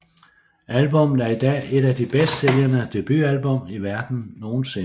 Albummet er i dag et af de bedst sælgende debutalbum i verdenen nogensinde